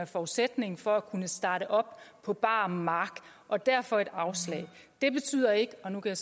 forudsætning for at kunne starte op på bar mark og derfor et afslag det betyder ikke og nu kan